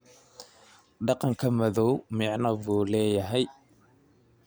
Dhaqanka madow macno buu leeyahay.